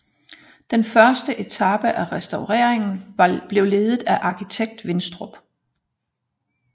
Denne første etape af restaureringen blev ledet af arkitekt Winstrup